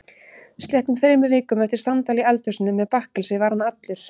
Sléttum þremur vikum eftir samtal í eldhúsinu með bakkelsi var hann allur.